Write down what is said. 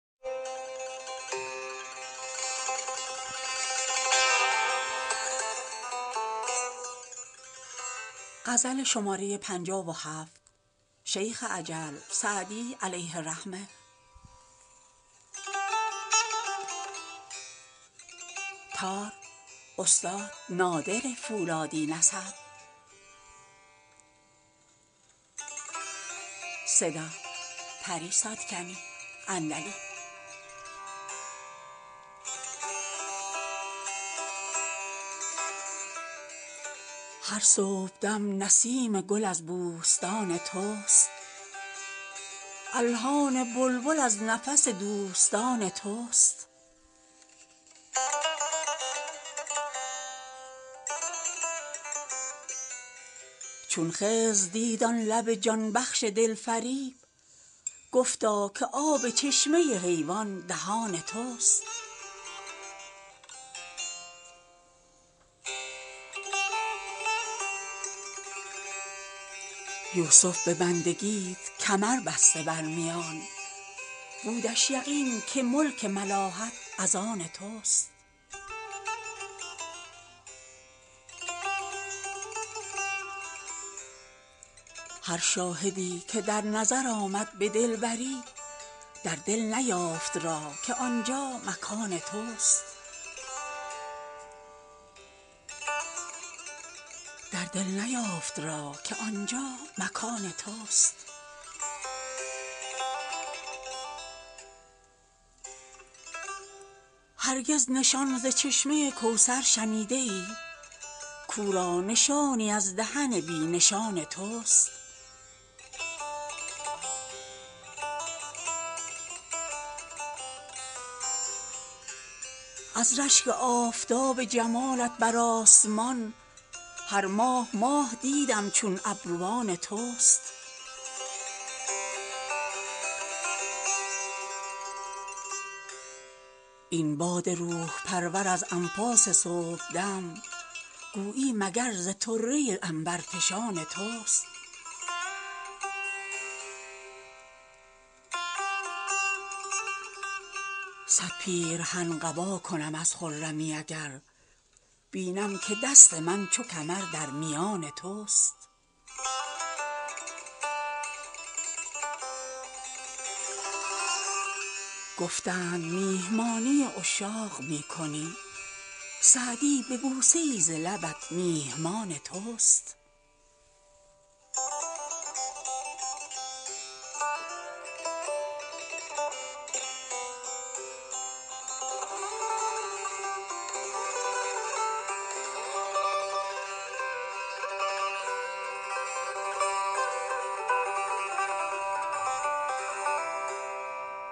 هر صبحدم نسیم گل از بوستان توست الحان بلبل از نفس دوستان توست چون خضر دید آن لب جان بخش دلفریب گفتا که آب چشمه حیوان دهان توست یوسف به بندگیت کمر بسته بر میان بودش یقین که ملک ملاحت از آن توست هر شاهدی که در نظر آمد به دلبری در دل نیافت راه که آنجا مکان توست هرگز نشان ز چشمه کوثر شنیده ای کاو را نشانی از دهن بی نشان توست از رشک آفتاب جمالت بر آسمان هر ماه ماه دیدم چون ابروان توست این باد روح پرور از انفاس صبحدم گویی مگر ز طره عنبرفشان توست صد پیرهن قبا کنم از خرمی اگر بینم که دست من چو کمر در میان توست گفتند میهمانی عشاق می کنی سعدی به بوسه ای ز لبت میهمان توست